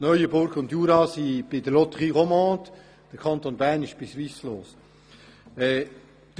Die Kantone Neuenburg und Jura sind bei der Loterie Romande, während der Kanton Bern bei Swisslos ist.